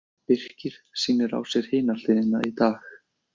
Birkir sýnir á sér Hina hliðina í dag.